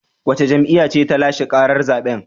Wace jam'iyya ce ta lashe karar zaben?